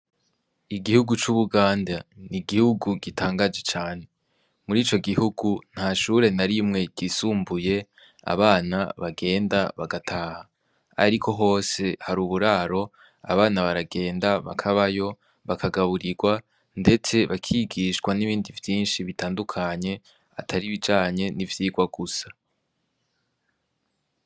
Igihugu c'ubuganda ni igihugu gitangaje cane muri ico gihugu nta shure narimwe gisumbuye abana bagenda bagataha, ariko hose hari uburaro abana baragenda bakabayo bakagaburirwa, ndetse bakigishwa n'ibindi vyinshi bitandukanye ataribijanye n'ivyirwa gusa.